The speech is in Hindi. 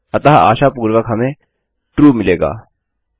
अतः आशापूर्वक हमें ट्रू मिलेगा